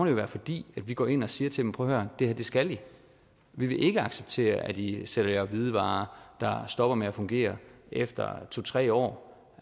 jo være fordi vi går ind og siger til dem prøv at høre det her skal i vi vil ikke acceptere at i sælger hvidevarer der stopper med at fungere efter to tre år